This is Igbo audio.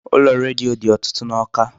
Ụlọ redio dị ọtụtụ n'Awka.